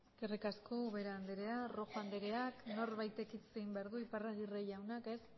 eskerrik asko ubera anderea rojo anderea norbaitek hitz egin behar du iparragirre jauna ez